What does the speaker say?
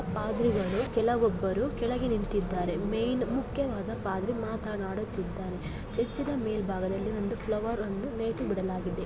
ಪಾದ್ರಿಗಳು ಕೆಲವೊಬ್ಬರು ಕೆಳಗೆ ನಿಂತಿದ್ದಾರೆ ಮೇನ್ ಮುಖ್ಯವಾದ ಪಾದ್ರಿ ಮಾತನಾಡುತ್ತಿದ್ದಾರೆ ಚರ್ಚಿ ನ ಮೇಲ್ಭಾಗದಲ್ಲಿ ಒಂದು ಫ್ಲವರ್ ಒಂದು ನೇತು ಬಿಡಲಾಗಿದೆ.